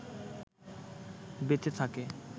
বেঁচে থাকে